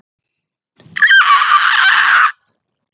Ég fylgi þér!